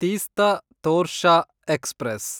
Teesta Torsha express